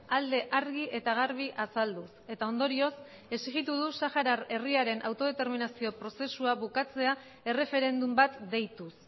alde argi eta garbi azalduz eta ondorioz exigitu du sahara herriaren autodeterminazio prozesua bukatzea erreferendum bat deituz